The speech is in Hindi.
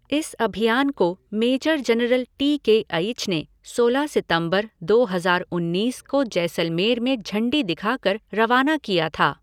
इस अभियान को major general T K H ने सोलह सितम्बर, दो हजार उन्नीस को जैसलमेर में झण्डी दिखाकर रवाना किया था।